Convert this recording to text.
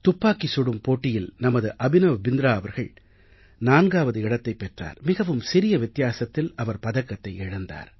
shooting பிரிவில் நமது அபினவ் பிந்த்ரா அவர்கள் 4வது இடத்தைப் பெற்றார் மிகவும் சிறிய வித்தியாசத்தில் அவர் பதக்கத்தை இழந்தார்